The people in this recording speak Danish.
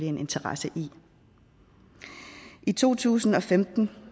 interesse i i to tusind og femten